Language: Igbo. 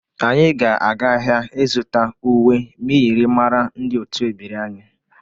Anyị ga-aga ahịa ịzụta uwe myịrịmara ndị otu ebiri anyị.